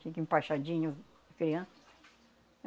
Tinha que empachadinho a criança.